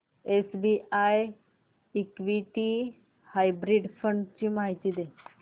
SBI equity hybrid fund ची माहिती दे